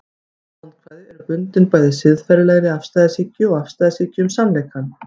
ýmis vandkvæði eru bundin bæði siðferðilegri afstæðishyggju og afstæðishyggju um sannleikann